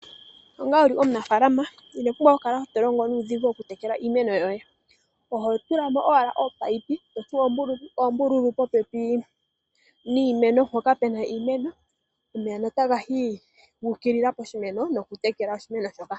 Onga wuli omunafalama inopumbwa okukala tolongo nuudhigu okutekele iimeno yoye oho tulamo owala oopaipi totsu oombululu popepi niimeno mpoka pena iimeno omeya notaga yi guukilila poshimeno nokutekela oshimeno shoka.